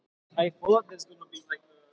Tekur erlendur þjálfari við Breiðabliki?